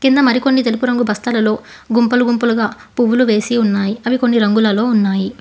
కింద మరి కొన్ని తెలుపు రంగు బస్థలలో గుంపులు గుంపులుగా పువ్వులు వేసి ఉన్నాయి అవి కొన్ని రంగులలో ఉన్నాయి.